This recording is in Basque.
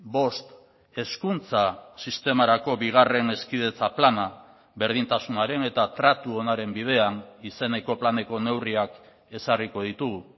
bost hezkuntza sistemarako bigarren hezkidetza plana berdintasunaren eta tratu onaren bidean izeneko planeko neurriak ezarriko ditugu